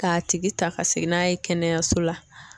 K'a tigi ta ka segin n'a ye kɛnɛyaso la